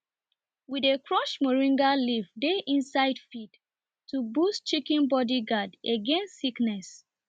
we dy crush moringa leaf dey inside feed to boost chicken body guard against sickness